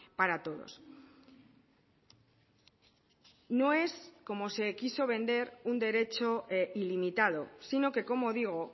para todos no es como se quiso vender un derecho ilimitado sino que como digo